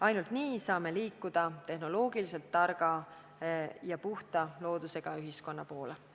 Ainult nii saame liikuda tehnoloogiliselt targa ja puhta loodusega ühiskonna poole.